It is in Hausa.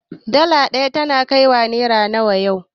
Dala ɗaya tana kaiwa naira nawa yau